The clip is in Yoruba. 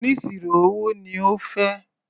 Oníṣirò owó ni ó fẹ́.